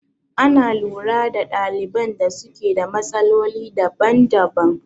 Ana lura da ɗaliban da suke da matsaloli daban daban